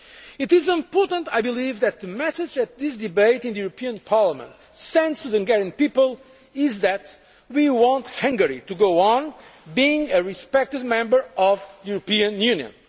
It is important, I believe, that the message sent from this debate in the European Parliament to the Hungarian people is that we want Hungary to go on being a respected member of the European Union.